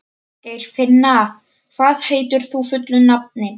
Geirfinna, hvað heitir þú fullu nafni?